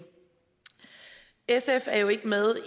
sf er jo ikke med